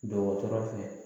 Dɔgɔtɔrɔ fɛ